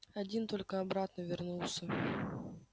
один только обратно вернулся